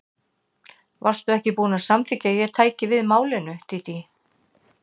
Varstu ekki búin að samþykkja að ég tæki við málinu, Dídí?